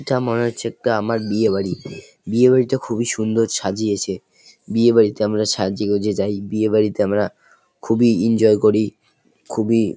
এটা মনে হচ্ছে একটা আমার বিয়ে বাড়ি । বিয়ে বাড়িটা খুবই সুন্দর সাজিয়েছে । বিয়ে বাড়িতে আমরা সাজে গোজে যাই। বিয়ে বাড়িতে আমরা খুবই ইনজয় করি খুবই--